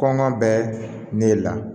Kɔngɔ bɛ ne le la